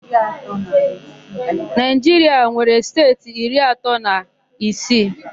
Naịjiria nwere steeti iri atọ na isii.